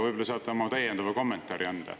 Võib-olla saate oma täiendava kommentaari anda.